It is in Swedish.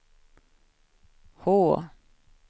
H